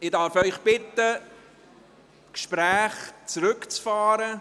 Ich darf Sie bitten, die Gespräche zurückzufahren.